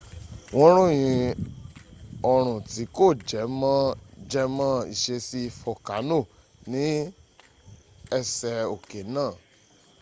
wọ́n ròyìn orun tí kò jẹ mọ́ jẹmọ́ ìṣesí folkano ní ẹsẹ̀ oké náà